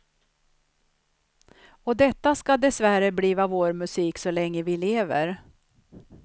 Och detta skall dessvärre bliva vår musik så länge vi lever.